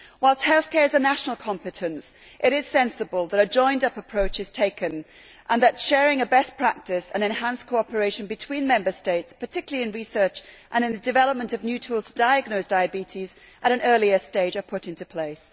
Whilst healthcare is a national competence, it is sensible that a joined up approach is taken and that sharing best practice and enhanced cooperation between Member States, particularly in research and in the development of new tools to diagnose diabetes at an earlier stage, are put into place.